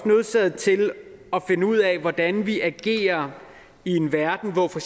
nødsaget til at finde ud af hvordan vi agerer i en verden hvor for